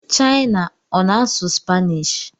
China ọ na-asụ Spanish?